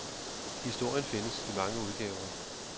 Historien findes i mange udgaver.